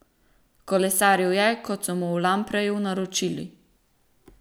Kolesaril je, kot so mu v Lampreju naročili.